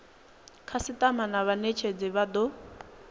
khasitama na munetshedzi vha do